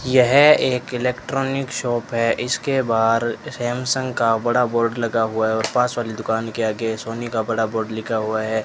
यह एक electronic shop है इसके बाहर सैमसंग का बड़ा बोर्ड लगा हुआ है और पास वाली दुकान के आगे सोनी का बड़ा बोर्ड लिखा हुआ है।